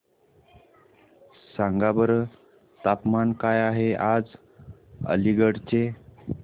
सांगा बरं तापमान काय आहे आज अलिगढ चे